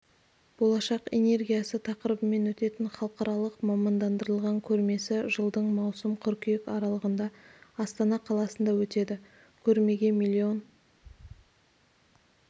болашақ энергиясы тақырыбымен өтетін халықаралық мамандандырылған көрмесі жылдың маусым қыркүйек аралығында астана қаласында өтеді көрмеге миллион